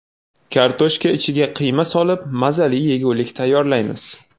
Kartoshka ichiga qiyma solib, mazali yegulik tayyorlaymiz.